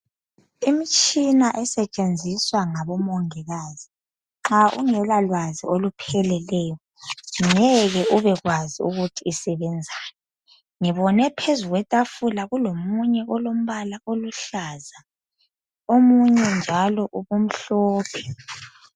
imitshina esetshensiswa ngabo mongikazi nxa ungela lwazi olupheleleyo ngeke ubekwazi ukuthi isebenzani ngibone phezu kwetafula kuomunye olompala oluhlaza omunye njalo ebemhlophe